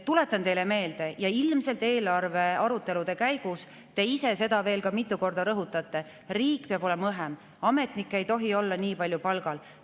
Tuletan teile meelde seda, mida te ilmselt eelarvearutelude käigus ise veel mitu korda rõhutate: riik peab olema õhem, ametnikke ei tohi olla nii palju palgal.